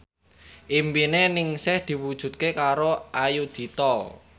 impine Ningsih diwujudke karo Ayudhita